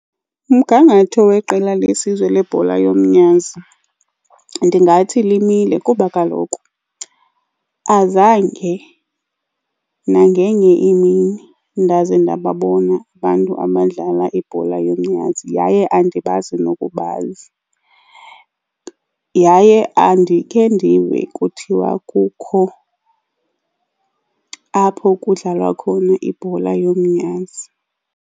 Umgangatho weqela lesizwe lebhola yomnyazi ndingathi limile kuba kaloku azange nangenye imini ndaze ndababona abantu abadlala ibhola yomnyazi, yaye andibazi nokubazi. Yaye andikhe ndifike kuthiwa kukho apho kudlalwa khona ibhola yomnyazi.